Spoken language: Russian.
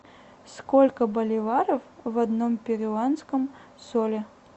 сколько боливаров в одном перуанском соле